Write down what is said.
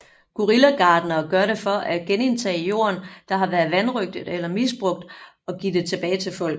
Guerilla gartnere gør det for at genindtage jorden der har været vanrøgtet eller misbrugt og give det tilbage til folk